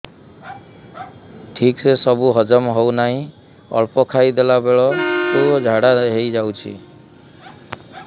ଠିକସେ ସବୁ ହଜମ ହଉନାହିଁ ଅଳ୍ପ ଖାଇ ଦେଲା ବେଳ କୁ ଝାଡା ହେଇଯାଉଛି